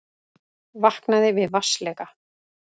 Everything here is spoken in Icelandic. Vaknaði við vatnsleka